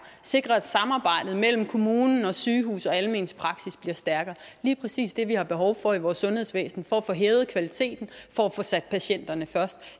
sikre at samarbejdet mellem kommune sygehus og almen praksis bliver stærkere det lige præcis det vi har behov for i vores sundhedsvæsen for at få hævet kvaliteten og for at få sat patienterne først